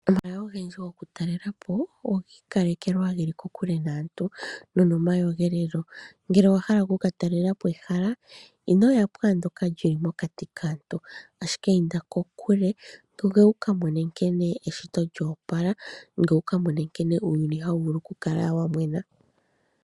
Omahala ogendji goku talelapo ogii kalekelwa geli kokule naantu no nomayogelelo ,ngele owa hala oku katalelapo ehala inoya pwaandoka lyili mokati kaantu ashike inda kokule, gwee wuka mone nkene eshito lyoopala, gweye wukamone nkene uuyuni hawukala wamwena.